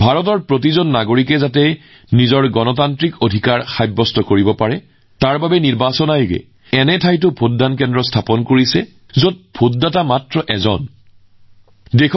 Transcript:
ভাৰতৰ প্ৰতিজন নাগৰিকে নিজৰ গণতান্ত্ৰিক অধিকাৰ সাব্যস্ত কৰিবলৈ সক্ষম হবলৈ আমাৰ নিৰ্বাচন আয়োগে এনে ঠাইতো ভোটগ্ৰহণ কেন্দ্ৰ স্থাপন কৰে যত মাত্ৰ এজন ভোটাৰ থাকে